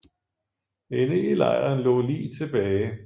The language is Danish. Inde i lejren lå lig tilbage